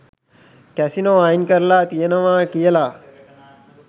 Casino අයින් කරලා තියෙනවා කියලා.